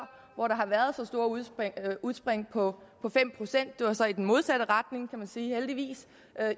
hvor der har været så store udsving på fem procent det var så i den modsatte retning kan man sige heldigvis